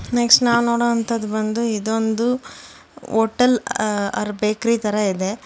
Next ನಾನ್ ನೋಡುವಂತದ ಬಂದು ಇದೊಂದು ಹೋಟೆಲ್ ಆರ್ ಬೇಕರಿ ತರ ಇದೆ.